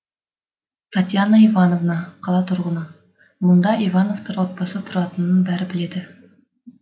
татьяна иванова қала тұрғыны мұнда ивановтар отбасы тұратынын бәрі біледі